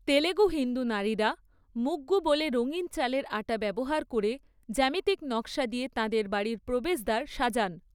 তেলুগু হিন্দু নারীরা মুগ্গু বলে রঙিন চালের আটা ব্যবহার করে জ্যামিতিক নক্‌শা দিয়ে তাঁদের বাড়ির প্রবেশদ্বার সাজান।